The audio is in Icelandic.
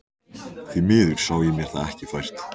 Því miður sá ég mér það ekki fært.